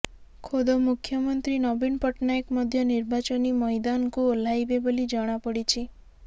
ଖୋଦ ମୁଖ୍ୟମନ୍ତ୍ରୀ ନବୀନ ପଟ୍ଟନାୟକ ମଧ୍ୟ ନିର୍ବାଚନୀ ମଇଦାନକୁ ଓହ୍ଳାଇବେ ବୋଲି ଜଣାପଡିଛି